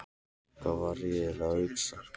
Hvað var ég eiginlega að hugsa?